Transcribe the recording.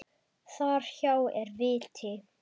Þar hjá er viti.